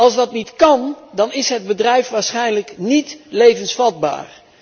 Als dat niet kan, dan is het bedrijf waarschijnlijk niet levensvatbaar.